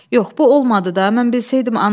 Yox, bu olmadı da, mən beləyəm.